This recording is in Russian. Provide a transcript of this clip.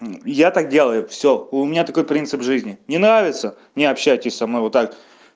я так делаю всё у меня такой принцип жизни не нравится не общайтесь со мной вот так